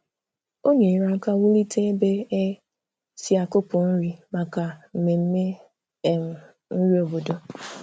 Ọ nyerè aka wùlite ebe e si akùpụ nri maka mmemme um nri obodo.